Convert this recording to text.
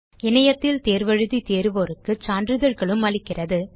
இணையத்தில் தேர்வு எழுதி தேர்வோருக்கு சான்றிதழ்களும் அளிக்கிறது